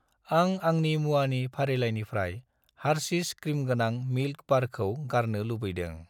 आं आंनि मुवानि फारिलाइनिफ्राय हारशिस क्रिमगोनां मिल्क बारखौ गारनो लुबैदों।